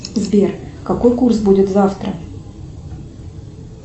сбер какой курс будет завтра